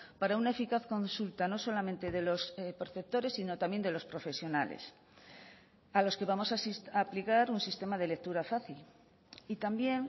para una eficaz consulta no solamente de los perceptores sino también de los profesionales a los que vamos a aplicar un sistema de lectura fácil y también